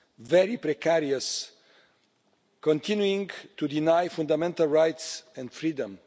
very precarious, continuing to deny fundamental rights and freedom.